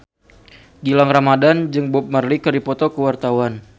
Gilang Ramadan jeung Bob Marley keur dipoto ku wartawan